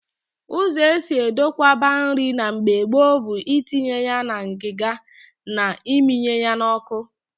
Ụzọ esi edokwaba nri na mgbe gboo bụ itinye na ngịga ma ịmịnye ya n'ọkụ